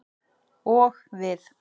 Og við.